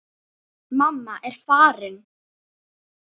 Mamma er farin.